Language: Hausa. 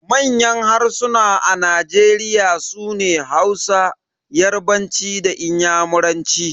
Manyan harsuna a Nigeria sune Hausa, yarbanci da inyamuranci.